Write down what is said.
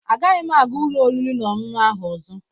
Agaghị m aga ụlọ oriri na ọṅụṅụ ahụ ọzọ